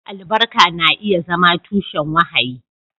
Albarka na iya zama tushen wahayi.